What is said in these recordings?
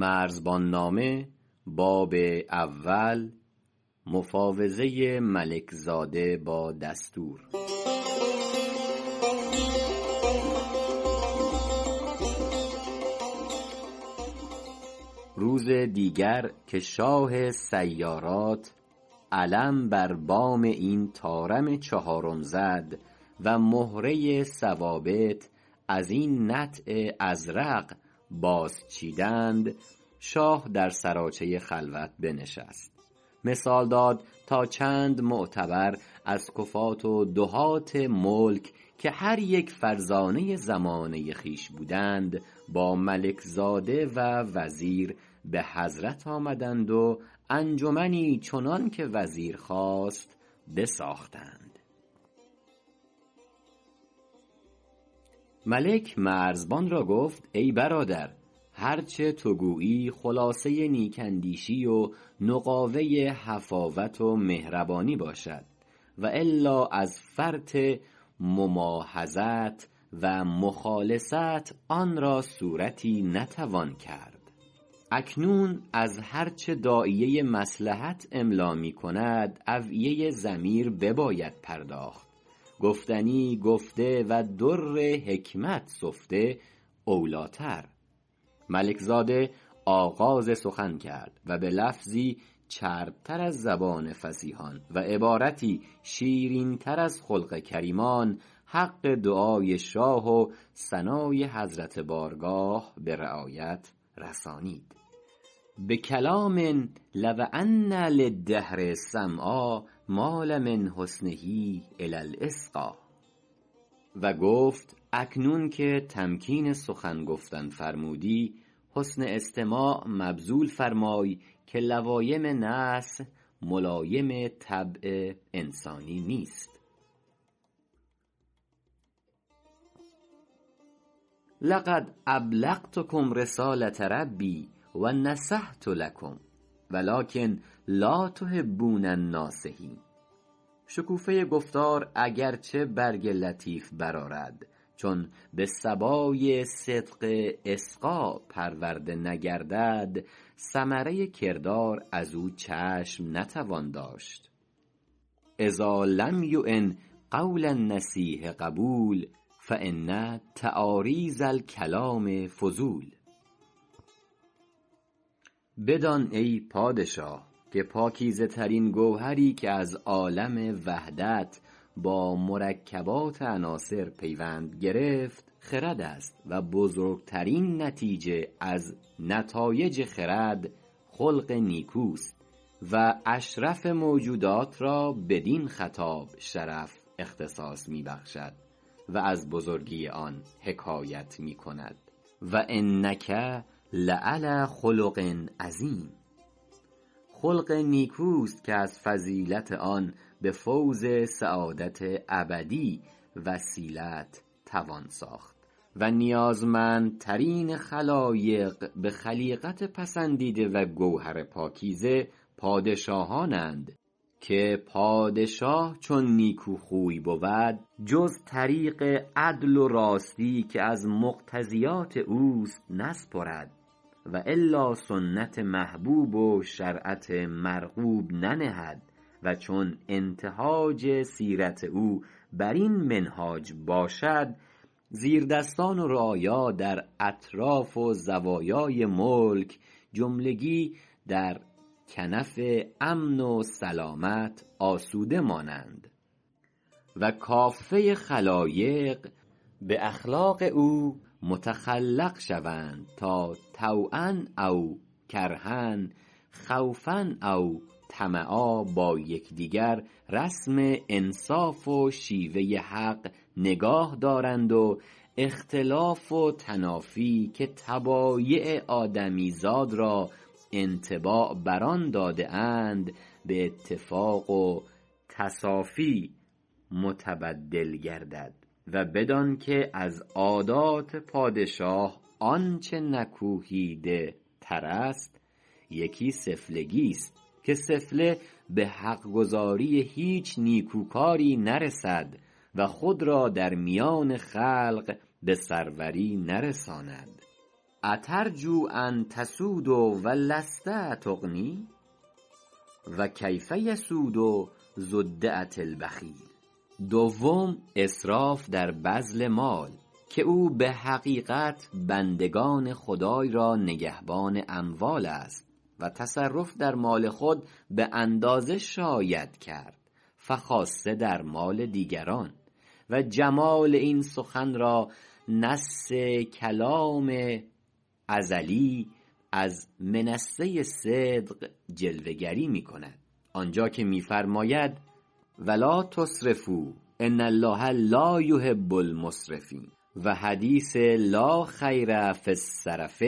روز دیگر که شاه سیارات علم بر بام این طارم چهارم زد و مهره ثوابت ازین نطع ازرق باز چیدند شاه در سراچه خلوت بنشست مثال داد تا چند معتبر از کفات و دهات ملک که هر یک فرزانه زمانه خویش بودند با ملک زاده و وزیر بحضرت آمدند و انجمنی چنانک وزیر خواست بساختند ملک مرزبان را گفت ای برادر هرچ تو گویی خلاصه نیک اندیشی و نقاوه حفاوت و مهربانی باشد و الا از فرط مماحضت و مخالصت آن را صورتی نتوان کرد اکنون از هرچ داعیه مصلحت املا می کند اوعیه ضمیر بباید پرداخت گفتنی گفته و در حکمت سفته او لیتر ملک زاده آغاز سخن کرد و بلفظی چرب تر از زبان فصیحان و عبارتی شیرین تر از خلق کریمان حق دعای شاه و ثنای حضرت بارگاه برعایت رسانید بکلام لو ان للدهر سمعا مال من حسنه الی الإصفاء و گفت اکنون که تمکین سخن گفتن فرمودی حسن استماع مبذول فرمای که لوایم نصح ملایم طبع انسانی نیست لقد ابلغتکم رساله ربی و نصحت لکم و لکن لا تحبون الناصحین شکوفه گفتار اگرچه برگ لطیف برآرد چون بصبای صدق اصفا پرورده نگردد ثمره کردار ازو چشم نتوان داشت اذا لم یعن قول النصیح قبول فان تعاریض الکلام فضول بدان ای پادشاه که پاکیزه ترین گوهری که از عالم وحدت با مرکبات عناصر پیوند گرفت خردست و بزرگتر نتیجه از نتایج خرد خلق نیکوست و اشرف موجودات را بدین خطاب شرف اختصاص می بخشد و از بزرگی آن حکایت میکند و إنک لعلی خلق عظیم خلق نیکوست که از فضیلت آن بفوز سعادت ابدی وسیلت توان ساخت و نیازمندترین خلایق بخلیقت پسندیده و گوهر پاکیزه پادشاهانند که پادشاه چون نیکوخوی بود جز طریق عدل و راستی که از مقتضیات اوست نسپرد و الا سنت محبوب و شرعت مرغوب ننهد و چون انتهاج سیرت او برین منهاج باشد زیردستان و رعایا در اطراف و زوایای ملک جملگی در کنف امن و سلامت آسوده مانند و کافه خلایق باخلاق او متخلق شوند تا طوعا اوکرها خوفا او طمعا با یکدیگر رسم انصاف و شیوه حق نگاهدارند و اختلاف و تنافی که طبایع آدمی زاد را انطباع بر آن داده اند باتفاق و تصافی متبدل گردد و بدانک از عادات پادشاه آنچ نکوهیده ترست یکی سفلگیست که سفله بحق گزاری هیچ نیکوکاری نرسد و خود را در میان خلق بسروری نرساند اترجو ان تسود و لست تغنی و کیف یسود ذو الدعه البخیل دوم اسراف در بذل مال که او بحقیقت بندگان خدای را نگهبان اموالست و تصرف در مال خود باندازه شاید کرد فخاصه در مال دیگران و جمال این سخن را نص کلام ار منصه صدق جلوه گری میکند آنجا که میفرماید و لا تسرفوا ان الله لا یحب المسرفین و حدیث لا خیر فی السرف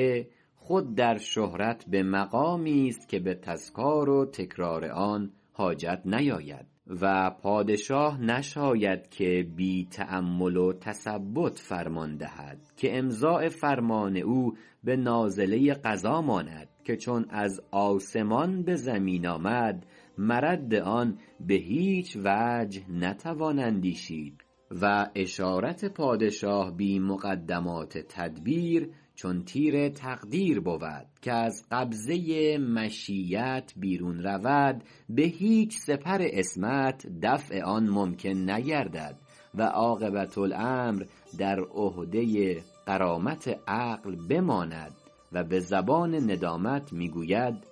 خود در شهرت بقمامیست که بتذکار و تکرار آن حاجت نیاید و پادشاه نشاید که بی تأمل و تثبت فرمان دهد که امضاء فرمان او بنازله قضا ماند که چون از آسمان بزمین آمد مرد آن بهیچ وجه نتوان اندیشید و اشارت پادشاه بی مقدمات تدبیر چون تیر تقدیر بود که از قبضه مشیت بیرون رود بهیچ سپر عصمت دفع آن ممکن نگردد و عاقبه الامر در عهده غرامت عقل بماند و بزبان ندامت میگوید و لو کنت أعلم الغیب لاستکثرت من الخیر و ما مسنی السوء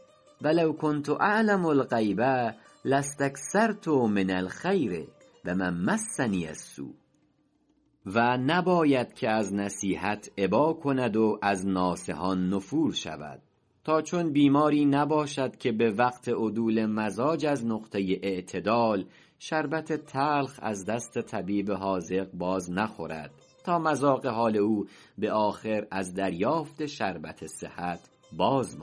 و نباید که از نصیحت ابا کند و از ناصحان نفور شود تا چون بیماری نباشد که بوقت عدول مزاج از نقطه اعتدال شربت تلخ از دست طبیب حاذق باز نخورد تا مذاق حال او بآخر از دریافت شربت صحت باز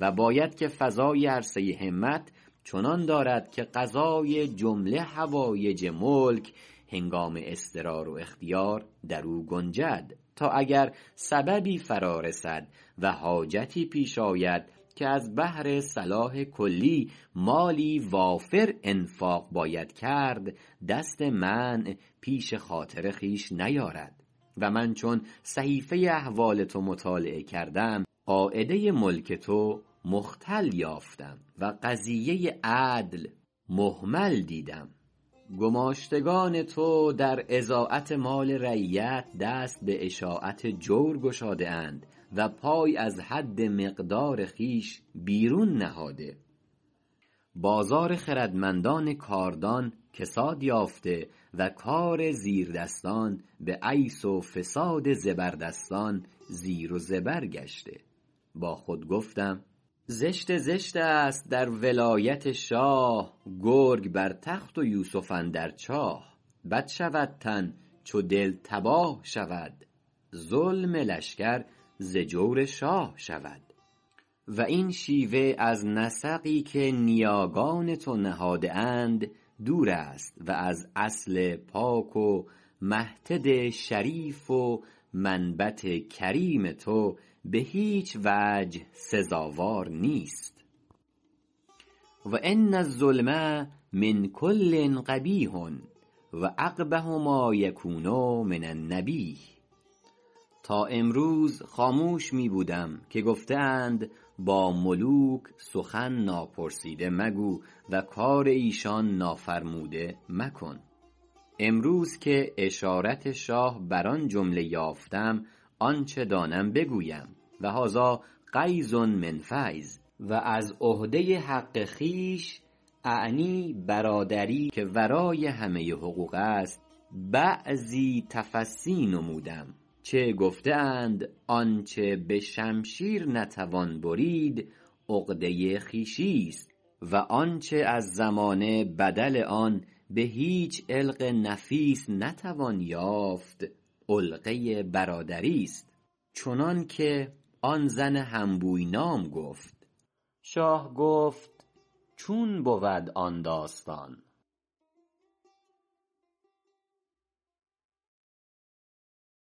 ماندو باید که فضای عرصه همت چنان دارد که قضای جمله حوایج ملک هنگام اضطرار و اختیار درو گنجد تا اگر سببی فرا رسد و حاجتی پیش آید که از بهرصلاح کلی مالی وافر انفاق باید کرد دست منع پیش خاطر خویش نیارد و من چون صحیفه احوال تو مطالعه کردم قاعده ملک تو مختل یافتم و قضیه عدل مهمل دیدم گماشتگان تو در اضاعت مال رعیت دست باشاعت جور گشاده اند و پای از حد مقدار خویش بیرون نهاده بازار خردمندان کاردان کساد یافته و کار زیردستان بعیث و فساد زیردستان زیر و زبر گشته با خود گفتم زشت زشتست در ولایت شاه گرگ بر تخت و یوسف اندر چاه بد شود تن چو دل تباه شود ظلم لشکر ز جور شاه شود و این شیوه از نسقی که نیاگان تو نهاده اند دوردست و از اصل پاک و محتد شریف و منبت کریم تو بهیچوجه سزاوار نیست و ان الظلم من کل قبیح و أقبح ما یکون من النبیه تا امروز خاموش می بودم که گفته اند با ملوک سخن ناپرسیده مگو و کار ایشان نافرموده مکن امروز که اشارت شاه بر آن جمله یافتم آنچ دانم بگویم و هذا غیض من فیض و از عهده حق خویش اعنی برادری که ورای همه حقوقست بعضی تفصی نمودم چه گفته اند آنچ بشمشیر نتوان برید عقده خویشیست و آنچ از زمانه بدل آن بهیچ علق نفیس نتوان یافت علقه برادریست چنانک آن زن هنبوی نام گفت شاه گفت چون بود آن داستان